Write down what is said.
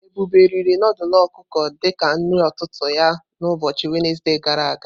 Ebube riri nudulu ọkụkọ di ka nri ụtụtụ ya na ụbọchị Wenezde gara aga.